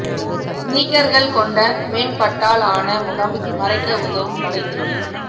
ஸ்னீக்கர்கள் கொண்ட மென் பட்டால் ஆன முகம் மறைக்க உதவும் வலை துணி